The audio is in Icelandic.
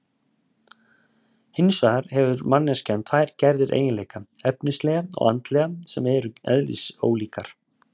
Hins vegar hefur manneskjan tvær gerðir eiginleika, efnislega og andlega, sem eru eðlisólíkir.